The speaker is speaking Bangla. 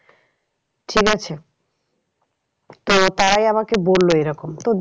ঠিক আছে তো তারাই আমাকে বললো এরকম। তো